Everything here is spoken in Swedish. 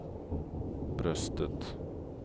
bröstet